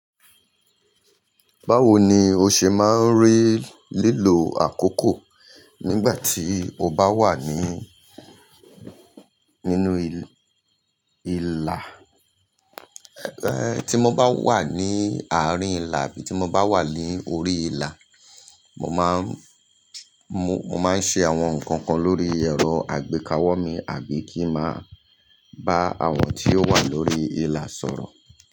Báwo ni o ṣe máa ń rí lílo àkókò nígbà tí o bá wà ní, nínú ìlà? Ẹ̀, tí mo bá wà ní àárín ìlà bí i tí mo bá wà ní orí ìlà, mo máa ń, mo, mo máa ń ṣe àwọn nǹkan kan lórí ẹ̀rọ àgbékawó mi àbí kí ń máa bá àwọn tí ó wà lórí ìlà sọ̀rọ̀.